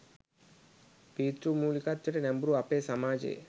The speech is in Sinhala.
පීතෘමූලිකත්වයට නැඹුරු අපේ සමාජයේ